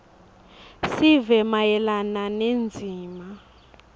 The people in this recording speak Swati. sive mayelana nendzima